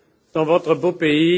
dans votre beau pays.